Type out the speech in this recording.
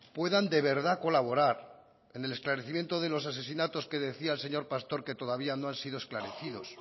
puedan de verdad colaborar en el esclarecimiento de los asesinatos que decía el señor pastor que todavía no han sido esclarecidos